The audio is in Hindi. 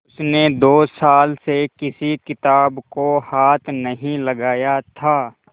उसने दो साल से किसी किताब को हाथ नहीं लगाया था